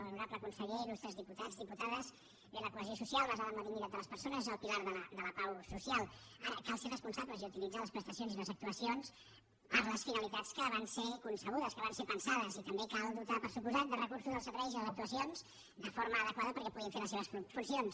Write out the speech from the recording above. honorable conseller ilal basada en la dignitat de les persones és el pilar de la pau social ara cal ser responsables i utilitzar les prestacions i les actuacions per a les finalitats per a les quals van ser concebudes pensades i també cal dotar per descomptat de recursos els serveis i les actuacions de forma adequada perquè puguin fer les seves funcions